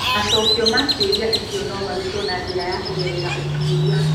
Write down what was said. Macokio ma ciũria icio no marutwo na njĩra ya kũgerera ũtuĩria.